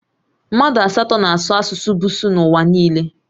Mmadụ asatọ na-asụ asụsụ Busuu n'ụwa niile